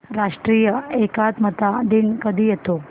राष्ट्रीय एकात्मता दिन कधी येतो